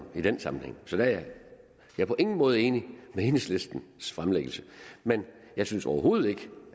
i den sammenhæng så jeg er på ingen måde enig i enhedslistens fremlæggelse men jeg synes overhovedet ikke